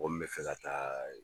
Mɔgɔ min bɛ fɛ ka taa